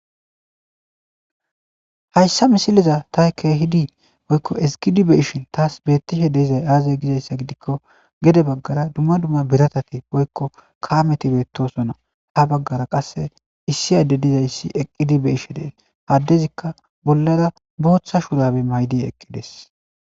hayssa misiliza taykke hidi woykko esqidibe ishin taas beettishe deizay aaze gizayssa gidikko gede baggara dumma dumma biratati woykko kaameti beettosonna ha baggara qasse issi adde dizayssi eqqidibe ishe deen haddezikka bollara booththa shurabe maydi eqqides